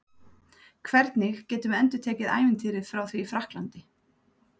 Hvernig getum við endurtekið ævintýrið frá því í Frakklandi?